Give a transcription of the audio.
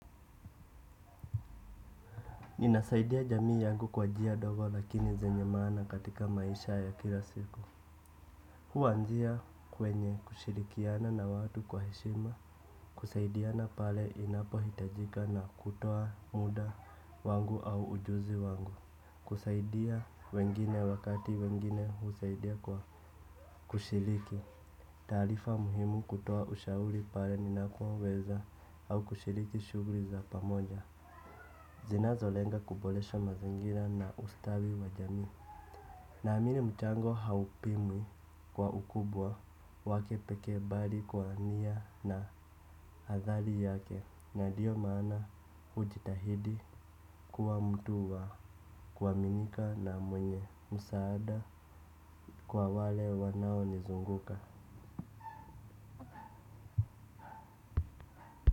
Ninasaidia jamii yangu kwa njia ndogo lakini zenye maana katika maisha ya kila siku. Huanzia kwenye kushirikiana na watu kwa heshima. Kusaidiana pale inapo hitajika na kutoa muda wangu au ujuzi wangu. Kusaidia wengine wakati wengine husaidia kwa kushiriki. Taarifa muhimu kutoa ushauri pale ninapoweza au kushiriki shughuli za pamoja. Zinazo lenga kuboresho mazingira na ustawi wa jamii. Naamini mchango haupimwi kwa ukubwa wake pekee bali kwa nia na athali yake na dio maana ujitahidi kuwa mtu wa kuaminika na mwenye msaada kwa wale wanao nizunguka.